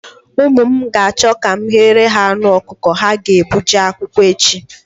Ụmụ m ga-achọ ka m ghere ha anụ ọkụkọ ha ga-ebu jee akwụkwọ echi.